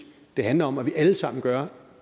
det handler om at vi alle sammen gør